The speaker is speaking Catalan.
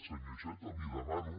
senyor iceta li demano